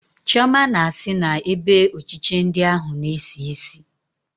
Chioma na-sị na ebe ochiche ndi ahụ na-esi isi